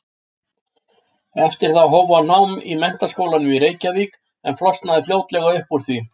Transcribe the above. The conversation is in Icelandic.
Eftir það hóf hann nám í Menntaskólanum í Reykjavík en flosnaði fljótlega upp úr því.